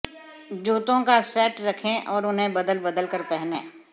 जूतों का सेट रखें और उन्हें बदल बदल कर पहनें